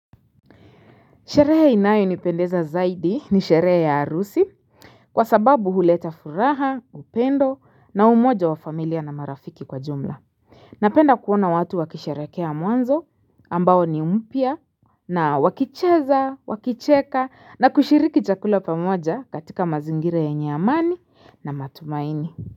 Sherehe inayo nipendeza zaidi ni sherehe ya harusi Kwa sababu huleta furaha upendo na umoja wa familia na marafiki kwa jumla Napenda kuona watu wakisherekea mwanzo ambao ni umpya na wakicheza wakicheka na kushiriki chakula pamoja katika mazingira yenye amani na matumaini.